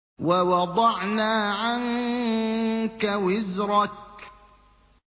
وَوَضَعْنَا عَنكَ وِزْرَكَ